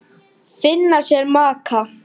Finna sér maka.